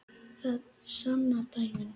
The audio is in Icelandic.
Það sanna dæmin.